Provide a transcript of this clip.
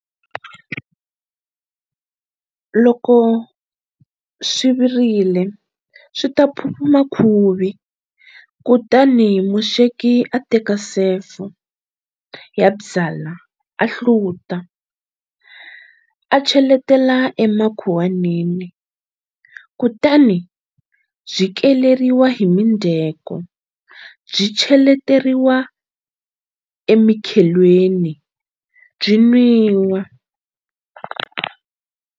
Loko swi virile swi ta phuphuma khuvi, kutani musweki a teka sefo ya byalwa a hluta, a cheletela emakhuwanini, kutani byi keleriwa hi mindzheko byi cheleteriwa emikhelweni byi nwiwa.